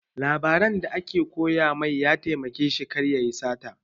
Labaran da aka koya mai ya taimake shi kar yayi sata